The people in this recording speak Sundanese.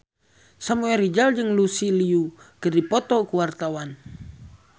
Samuel Rizal jeung Lucy Liu keur dipoto ku wartawan